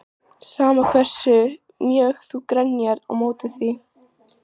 Sama hversu mjög þú grenjar á móti því.